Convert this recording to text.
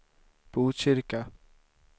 Botkyrka